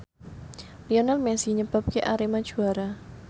Lionel Messi nyebabke Arema juara